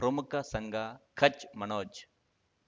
ಪ್ರಮುಖ ಸಂಘ ಖಚ್ ಮನೋಜ್